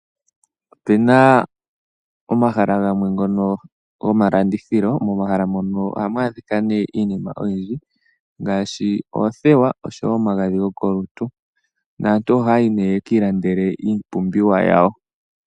Opena omahala gamwe ngono gomaandithilo. Momahala mono ohamu adhika nee iinima oyindji ngaashi, oothewa oshowo omagadhi gokolutu. Naantu ohaya yi nee yeki ilandele iipumbiwa yawo.